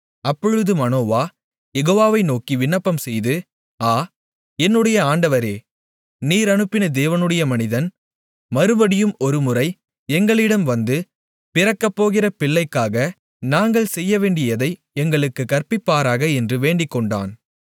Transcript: அப்பொழுது மனோவா யெகோவாவை நோக்கி விண்ணப்பம்செய்து ஆ என்னுடைய ஆண்டவரே நீர் அனுப்பின தேவனுடைய மனிதன் மறுபடியும் ஒருமுறை எங்களிடம் வந்து பிறக்கப்போகிற பிள்ளைக்காக நாங்கள் செய்யவேண்டியதை எங்களுக்குக் கற்பிப்பாராக என்று வேண்டிக்கொண்டான்